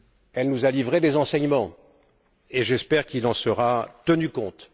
Elle nous a livré des enseignements, et j'espère qu'il en sera tenu compte.